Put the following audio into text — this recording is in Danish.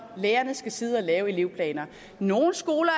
lærerne skal sidde og lave elevplaner nogle skoler